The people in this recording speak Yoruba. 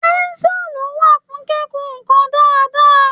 Pẹ́ńsúlù wà fún kíkun nǹkan dáadáa.